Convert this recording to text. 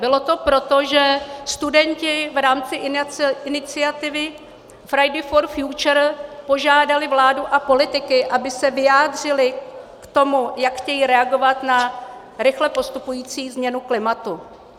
Bylo to proto, že studenti v rámci iniciativy Fridays for future požádali vládu a politiky, aby se vyjádřili k tomu, jak chtějí reagovat na rychle postupující změnu klimatu.